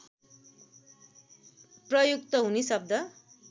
प्रयुक्त हुने शब्द